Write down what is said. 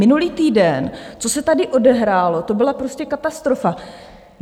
Minulý týden, co se tady odehrálo, to byla prostě katastrofa.